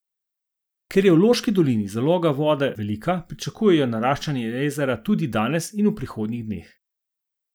Ker je v Loški dolini zaloga vode velika, pričakujejo naraščanje jezera tudi danes in v prihodnjih dneh.